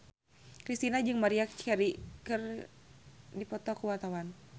Kristina jeung Maria Carey keur dipoto ku wartawan